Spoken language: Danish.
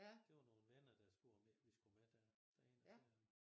Det var nogen venner der spurgte om ikke vi skulle med derop derind og se ham